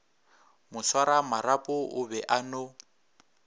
moswaramarapo o be a no